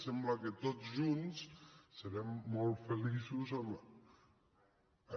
sembla que tots junts serem molt feliços amb